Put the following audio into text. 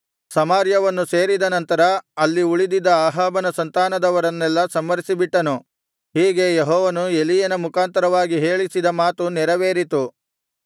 ಸಮಾರ್ಯವನ್ನು ಸೇರಿದ ನಂತರ ಅಲ್ಲಿ ಉಳಿದಿದ್ದ ಅಹಾಬನ ಸಂತಾನದವರನ್ನೆಲ್ಲಾ ಸಂಹರಿಸಿಬಿಟ್ಟನು ಹೀಗೆ ಯೆಹೋವನು ಎಲೀಯನ ಮುಖಾಂತರವಾಗಿ ಹೇಳಿಸಿದ ಮಾತು ನೆರವೇರಿತು